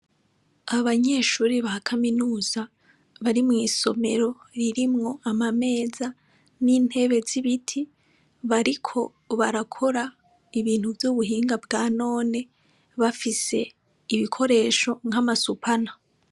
Abanyeshuri ba kaminuza bari mw'isomero ririmwo ama meza n'intebe z'ibiti bariko barakora ibintu vy'ubuhinga bwa none bafise ibikoresho nk'amasupana.